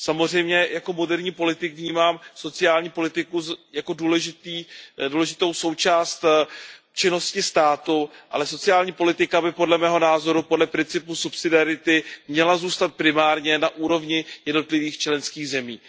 Samozřejmě jako moderní politik vnímám sociální politiku jako důležitou součást činnosti státu, ale sociální politika by podle mého názoru podle principu subsidiarity měla zůstat primárně na úrovni jednotlivých členských zemí.